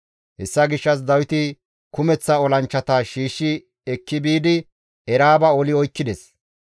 Hessa gishshas Dawiti kumeththa olanchchata shiishshi ekki biidi Eraaba oli oykkides.